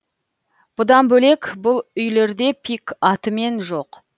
бұдан бөлек бұл үйлерде пик атымен жоқ